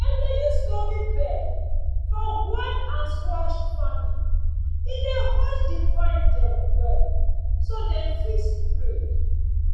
dem dey use loamy bed for gourd and squash farming e dey hold di vine dem well so dem fit spread.